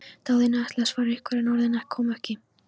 Daðína ætlaði að svara einhverju, en orðin komu ekki.